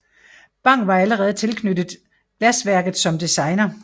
Bang var allerede tilknyttet glasværket som designer